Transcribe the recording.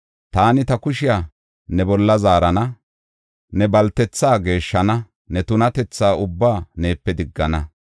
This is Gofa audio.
Taani ta kushiya ne bolla zaarana; ne baltetha geeshshana; ne tunatetha ubbaa neepe diggana.